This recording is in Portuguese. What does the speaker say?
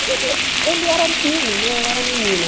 Porque ele ele era menino né, eu era menina.